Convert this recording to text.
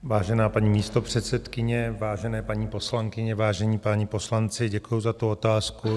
Vážená paní místopředsedkyně, vážené paní poslankyně, vážení páni poslanci, děkuji za tu otázku.